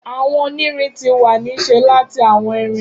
Awọn onirin ti wa ni ṣe lati awọn irin